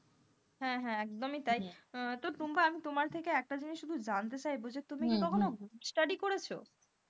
হ্যাঁ হ্যাঁ, একদম তাই তো টুম্পা তোমার থেকে একটা জিনিস জানতে চাইবো যে তুমি কি কখনো group study করেছো,